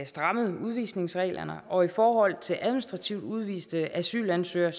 strammede udvisningsreglerne og i forhold til administrativt udviste asylansøgere